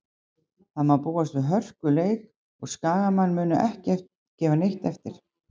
Það má búast við hörkuleik og Skagamenn munu ekki gefa neitt eftir.